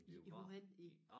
I i hvorhenne i